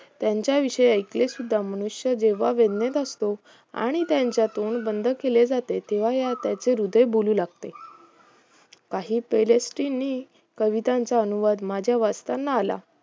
त्यांच्याविषयी एकले सुद्धा मनुष्य जेव्हा वेदणेत असतो आणि त्यांचे तोंड बंद केले जात तेव्हा त्यांचे हृदय बोलू लागते काही PALESTY कवितांचा अनुवाद माझ्या वाचताना आला